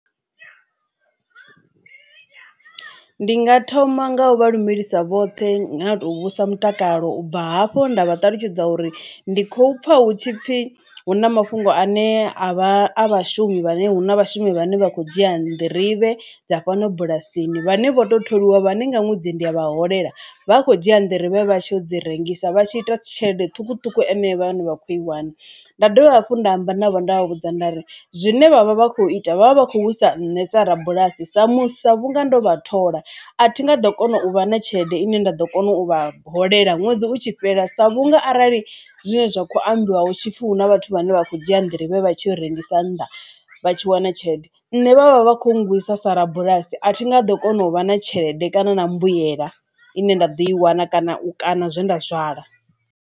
Ndi nga thoma nga u vha lumelisa vhoṱhe ngau to vhudzisa mutakalo u bva hafho nda vha ṱalutshedza uri ndi khou pfha hutshipfi hu na mafhungo ane a vha a vhashumi vhane huna vhashumi vhane vha kho dzhia nḓirivhe dza fhano bulasini vhane vho to tholiwa vhane nga ṅwedzi ndi a vha holela vha kho dzhia nḓirivhe vha tsho dzi rengisa vhatshi ita tshelede ṱhukuṱhuku ane vha vha kho i wana. Nda dovha hafhu nda amba navho nda vha vhudza nda ri zwine vhavha vha khou ita vhavha vha khou sa nṋe sa rabulasi sa muthusa vhunga ndo vha thola a thi nga ḓo kona u vha na tshelede ine nda ḓo kona u vha holela ṅwedzi utshi fhela sa vhunga arali zwine zwa kho ambiwa hu tshi pfhi hu na vhathu vhane vha kho dzhia nḓirivhe vha tshi rengisa nnḓa vha tshi wana tshelede ine vhavha vha kho gwisa sa rabulasi a thi nga ḓo kona u vha na tshelede kana na mbuyelo ine nda ḓo i wana kana u kaṋa zwe nda zwala.